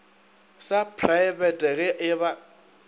sa praebete ge e ba